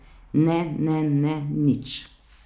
Ne, ne, ne, nič.